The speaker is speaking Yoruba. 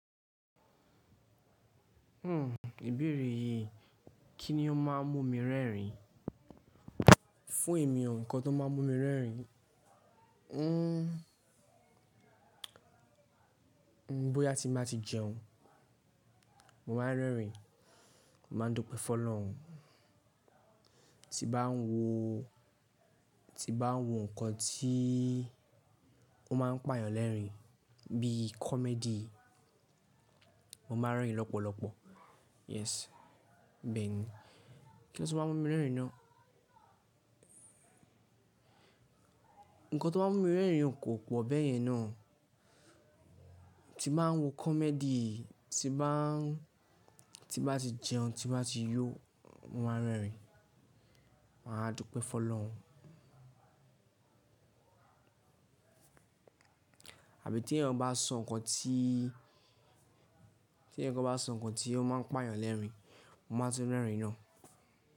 Hmm, ìbéèrè yìí, kí ni ó má a mú mi rẹ́rìn-ín? Fún èmi, ǹkan tó má a mú mi rẹ́rìn-ín, hmm hmm, bóyá tí bá ti jẹun, mo máa ń rẹ́rìn-ín, momá ń dúpẹ́ fọ́ lọ́hun. Tí bá ń wo, tí bá ń wo ǹkan tí ó má a ń pà yàn lẹ́rìn-ín bí i comedy, mo má a ń rẹ́rìn-ín lọ́pọ̀lọpọ̀. Yes. Bẹ́ẹ̀ ni. Kí ló ti máa mú mi rẹ́rìn-ín náà? Ǹkan tó máa mú mi rẹ́rìn-ín kò pọ̀ bẹ́ẹ̀ yẹn náà. Tí màá ń wo comedy, tí bá, tí bá ti jẹun, tí bá ti yó, mo máa ń rẹ́rìn-ín, màá dúpẹ́ fọ́ lọ́hun. Àbí tí ẹ̀yàn bá sọ ǹkan tí, tí ẹ̀yàn kan bá sọ ǹkan tí ó má a ń pà yàn lẹ́rìn-ín, mo máa tí rẹ́rìn-ín náà.